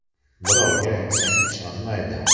“Birovga aytsang ishonmaydi.